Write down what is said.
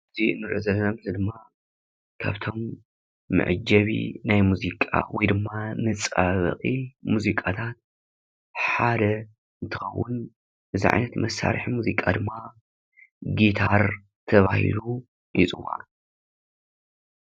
እዚ እንሪኦ ዘለና ምስሊ ድማ ካብቶም መዐጀቢ ናይ ሙዚቃ ወይ ድማ መፀባበቂ ሙዚቃታት ሓደ እንትኸውን፤ እዚ ዓይነት መሳርሒ ሙዚቃ ድማ ጊታር ተባሂሉ ይፅዋዕ፡፡